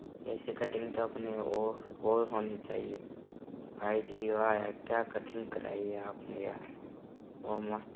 ऐसे कटिंग तो अपने ओ और होनी चाहिए भाईजी वाह यार क्या कटिंग कराई है आपने यार ओ मस्त --